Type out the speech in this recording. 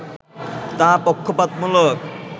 তা পক্ষপাতমূলক